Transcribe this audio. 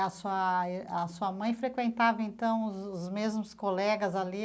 A sua a sua mãe frequentava, então, os os mesmos colegas ali?